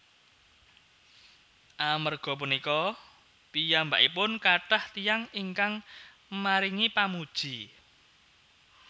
Amerga punika piyambakipun kathah tiyang ingkang maringi pamuji